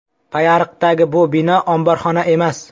Payariqdagi bu bino omborxona emas.